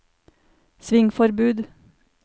svingforbud